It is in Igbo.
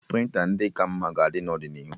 Prịnta ndị ka mma ga-adị n'ọdịnihu